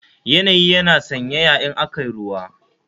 Yanayi yana sanyaya in aka yi ruwa